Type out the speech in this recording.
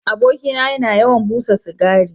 Abokina yana yawan busa cigari.